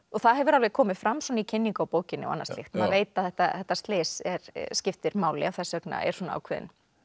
það hefur alveg komið fram í kynningu á bókinni og annað slíkt maður veit að þetta þetta slys skiptir máli þess vegna er svona ákveðinn